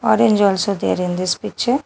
Orange also there in this picture.